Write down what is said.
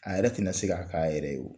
A yɛrɛ tɛna na se k'a kɛ a yɛrɛ ye o